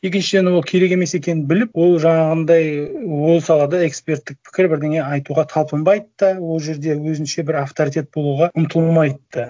екіншіден ол керек емес екенін біліп ол жаңағындай ол салада эксперттік пікір бірдеңе айтуға талпынбайды да ол жерде өзінше бір авторитет болуға ұмтылмайды да